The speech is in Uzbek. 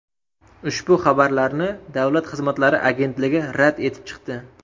Ushbu xabarlarni Davlat xizmatlari agentligi rad etib chiqdi.